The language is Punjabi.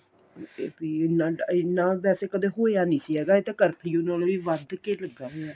ਤੇ ਪੀੜ ਇੰਨਾ ਹੁੰਦਾ ਸੀ ਕਦੇ ਹੋਇਆ ਨੀਂ ਸੀ ਹੈਗਾ ਇਹ ਤਾਂ ਕਰਫਿਊ ਨਾਲੋ ਵੀ ਵੱਧ ਕੇ ਲੱਗਾ ਹੋਇਆ